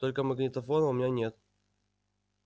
только магнитофона у меня нет